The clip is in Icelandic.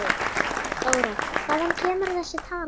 Þóra: Hvaðan kemur þessi tala?